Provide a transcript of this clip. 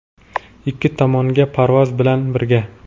Ikki tomonga parvoz bilan birga.